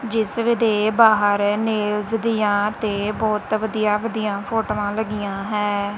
ਜਿਸ ਦੇ ਬਾਹਰ ਨੇਲਸ ਦੀਆਂ ਤੇ ਬਹੁਤ ਵਧੀਆ ਵਧੀਆ ਫੋਟੋਆਂ ਲੱਗੀਆਂ ਹੈ।